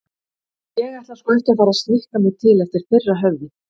Ég ætla sko ekki að fara að snikka mig til eftir þeirra höfði.